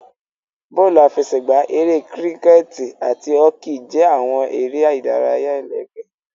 Bọọlu afẹsẹgba, Ere Kiriketi ati Hoki jẹ awọn ere idaraya ẹlẹgbẹ.